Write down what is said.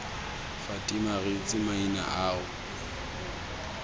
fatima re itse maina ao